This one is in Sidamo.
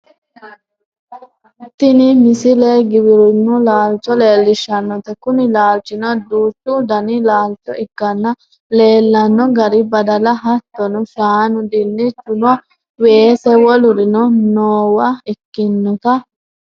tini misile giwirinnu laalcho leellishshannote kuni laalchino duuchu dani laalcho ikkanna leellano garinni badala hattono shaanu dinnichunna weese wolurino noowa ikkinota